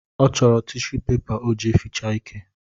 Ọ chọrọ tishu pepa o ji eficha ike